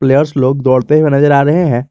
Players लोग दौड़ते हुए नजर आ रहे हैं।